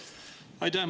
Aitäh!